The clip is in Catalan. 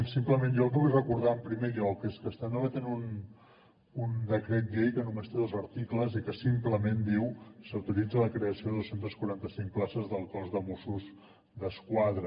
simplement jo el que vull recordar en primer lloc és que estem debatent un decret llei que només té dos articles i que simplement diu s’autoritza la creació de dos cents i quaranta cinc places del cos de mossos d’esquadra